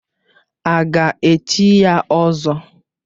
A ga-echi ya ỌZỌ?